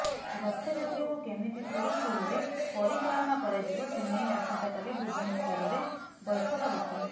ରଥଯାତ୍ରାକୁ କେମିତି ସୁରୁଖୁରୁରେ ପରିଚାଳନା କରାଯିବ ସେନେଇ ଆସନ୍ତା କାଲି ଭୁବନେଶ୍ୱରରେ ବୈଠକ ବସିବ